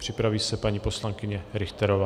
Připraví se paní poslankyně Richterová.